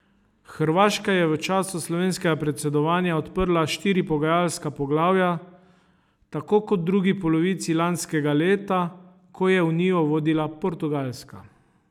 Hrvaška je v času slovenskega predsedovanja odprla štiri pogajalska poglavja, tako kot v drugi polovici lanskega leta, ko je unijo vodila Portugalska.